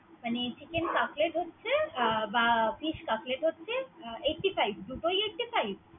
মানে হচ্ছে Chicken Cutlet হচ্ছে বা Fish cutlet হচ্ছে Eighty five দুটোই eighty five ।